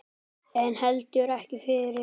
En heldur ekki fyrr.